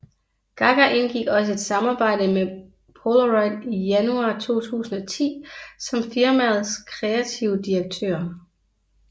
Gaga indgik også et samarbejde med Polaroid i januar 2010 som firmaets kreative direktør